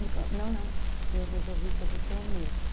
Ele falou, não, não, eu resolvi que eu vou ser o mesmo.